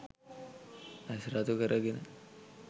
ඇස් රතු කරගෙන